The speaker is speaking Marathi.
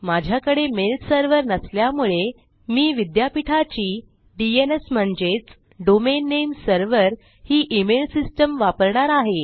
माझ्याकडे मेल सर्व्हर नसल्यामुळे मी विद्यापीठाची डीएनएस म्हणजेच डोमेन नामे सर्व्हर ही ईमेल सिस्टीम वापरणार आहे